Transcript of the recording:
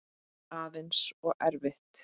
Aðeins of erfitt.